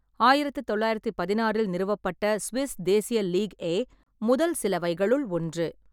ஆயிரத்து தொள்ளாயிரத்து பதினாறில் நிறுவப்பட்ட சுவிஸ் தேசிய லீக் ஏ, முதல் சிலவைகளுள் ஒன்று.